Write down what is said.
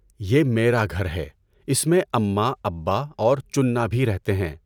یہ میرا گھر ہے، اس میں امّا، ابّا اور چننا بھی رہتے ہیں۔